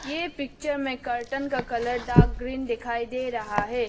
ए picture में curtain का colour dark green दिखाई दे रहा है।